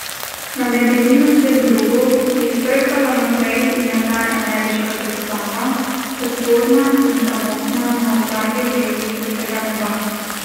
Na medeninastem drogu je švrkala naprej in nazaj ameriška zastava, osorna in samotna na ozadju vijoličastega neba.